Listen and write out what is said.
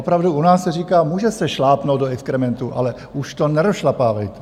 Opravdu u nás se říká: může se šlápnout do exkrementu, ale už to nerozšlapávejte.